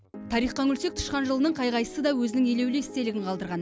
тарихқа үңілсек тышқан жылының қай қайсысы да өзінің елеулі естелігін қалдырған